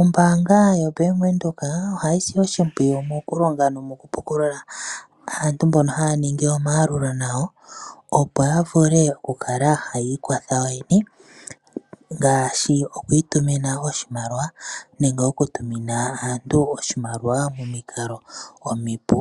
Ombaanga yaWindhoek ohayi si oshimpwiyu noku pukulula aayakulwa yawo opo ya vule okwiikwatha yo yene ngaashi okutuma oshimaliwa momikalo omipu,